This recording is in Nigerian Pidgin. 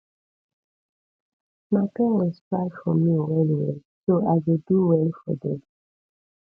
my parents try for me well well so i go do well for dem